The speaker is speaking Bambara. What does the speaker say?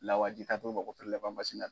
Lawaji kant'o ma ko